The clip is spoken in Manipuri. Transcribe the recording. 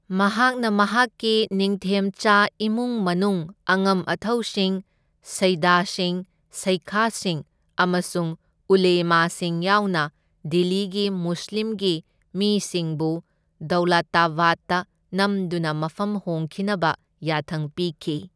ꯃꯍꯥꯛꯅ ꯃꯍꯥꯛꯀꯤ ꯅꯤꯡꯊꯦꯝꯆꯥ ꯏꯃꯨꯡ ꯃꯅꯨꯡ, ꯑꯉꯝ ꯑꯊꯧꯁꯤꯡ, ꯁꯩꯗꯁꯤꯡ, ꯁꯩꯈꯁꯤꯡ ꯑꯃꯁꯨꯡ ꯎꯂꯦꯃꯥꯁꯤꯡ ꯌꯥꯎꯅ ꯗꯤꯜꯂꯤꯒꯤ ꯃꯨꯁꯂꯤꯝꯒꯤ ꯃꯤꯁꯤꯡꯕꯨ ꯗꯧꯂꯥꯇꯕꯥꯠꯇ ꯅꯝꯗꯨꯅ ꯃꯐꯝ ꯍꯣꯡꯈꯤꯅꯕ ꯌꯥꯊꯪ ꯄꯤꯈꯤ꯫